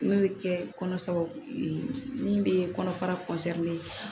N'o bɛ kɛ kɔnɔ min bɛ kɔnɔfara